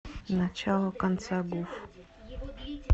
начало конца гуф